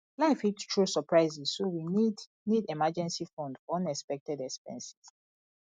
life fit throw surprises so we need need emergency fund for unexpected expenses